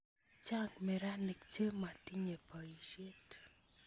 Chang' meranik che motinye poisyet